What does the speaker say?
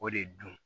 O de dun